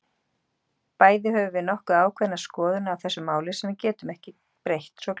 Bæði höfum við nokkuð ákveðnar skoðanir á þessu máli, sem við breytum ekki svo glatt.